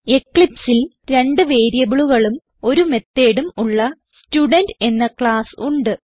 eclipseൽ രണ്ട് വേരിയബിളുകളും ഒരു methodഉം ഉള്ള സ്റ്റുഡെന്റ് എന്ന ക്ലാസ്സ് ഉണ്ട്